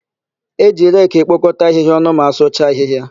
E ji reki ekpokọta ahịhịa ọnụ ma asụcha ahịhịa.